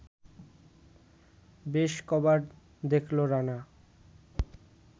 বেশ ক’বার দেখল রানা